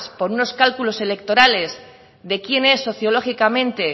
por unas cálculos electorales de quienes sociológicamente